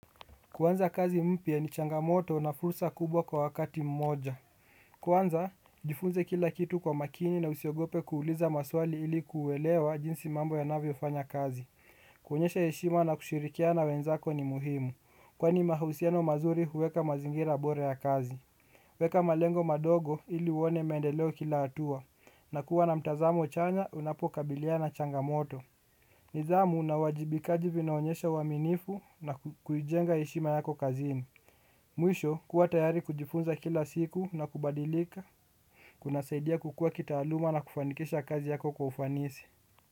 Kuanza kazi mpia ni changamoto na fursa kubwa kwa wakati mmoja. Kwanza, jifunze kila kitu kwa makini na usiogope kuuliza maswali ili kuwelewa jinsi mambo ya navio fanya kazi. Kuhonyesha heshima na kushirikia na wenzako ni muhimu, kwa ni mahusiano mazuri huweka mazingira bore ya kazi. Weka malengo madogo ili uone mendeleo kila atua, na kuwa na mtazamo chanya unapokabilia na changamoto. Nizamu na wajibikaji vinaonyesha uaminifu na kujenga ishima yako kazini. Mwisho kuwa tayari kujifunza kila siku na kubadilika, kuna saidia kukua kita aluma na kufanikisha kazi yako kufanisi.